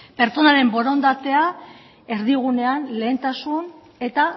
pertsonaren borondatea erdigunean lehentasun eta